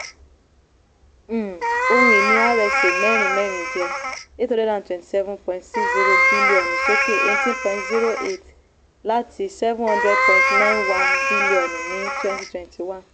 um ohun-ìní rsa mẹ́rin mẹ́rin jẹ́ um n eight hundred twenty seven point six zero bilionu sókè eighteen point zero eight percent láti n seven hundred point nine one bilionu ní um twenty twenty one.